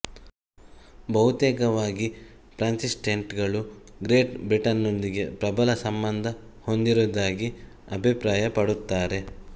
ಬಹುತೇಕವಾಗಿ ಪ್ರಾಟೆಸ್ಟೆಂಟ್ ಗಳು Great Britain ನೊಂದಿಗೆ ಪ್ರಬಲ ಸಂಬಂಧ ಹೊಂದಿರುವುದಾಗಿ ಅಭಿಪ್ರಾಯಪಡುತ್ತಾರೆ